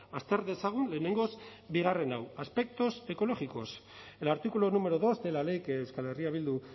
azter dezagun lehenengoz bigarren hau aspectos ecológicos el artículo número dos de la ley que euskal herria bildu